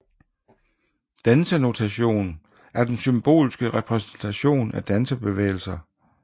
Dansenotation er den symboliske repræsentation af dansebevægelser